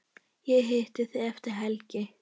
Ég hitti þig eftir helgi.